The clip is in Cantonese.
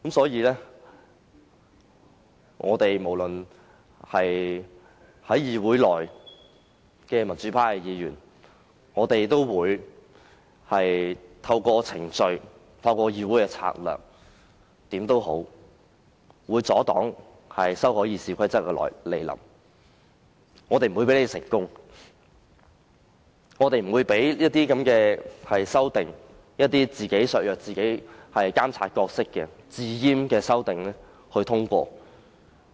因此，議會內的民主派議員無論如何也會透過程序或其他策略，阻擋修訂《議事規則》，不會讓建制派成功，不會讓那些"自閹"削弱自己的監察角色的修訂獲得通過。